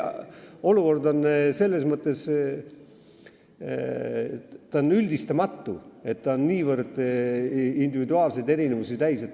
Olukord on selles mõttes üldistamatu, et ta on niivõrd individuaalseid erinevusi täis.